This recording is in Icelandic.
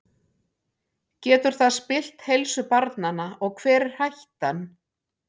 Getur það spillt heilsu barnanna og hver er hættan?